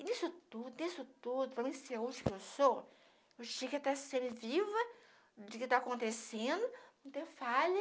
E nisso tudo, nisso tudo, falando em saúde que eu sou, eu tinha que estar sempre viva do que tá acontecendo, não ter falha.